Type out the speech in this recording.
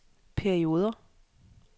perioder